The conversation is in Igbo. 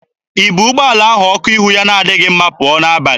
I bu ụgbọala ahụ ọkụ ihu ya na-adịghị mma pụọ n'abalị?